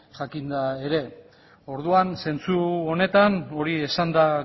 jakinda ere zentzu honetan hori esanda